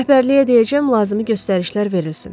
Rəhbərliyə deyəcəm lazımi göstərişlər verilsin.